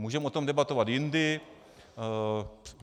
Můžeme o tom debatovat jindy.